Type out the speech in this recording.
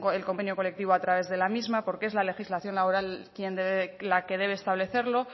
el convenio colectivo a través de la misma porque es la legislación laboral la que debe establecerlo